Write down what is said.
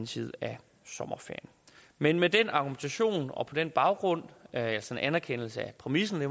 side af sommerferien men med den argumentation og på den baggrund altså en anerkendelse af præmissen